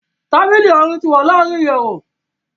Tábìlì Àárín ni wá larin ìyèwù